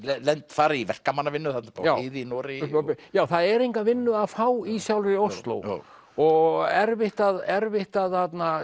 fara í verkamannavinnu þarna uppi á heiði í Noregi já það er enga vinnu að fá í sjálfri Osló og erfitt að erfitt að